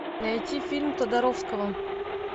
найти фильм тодоровского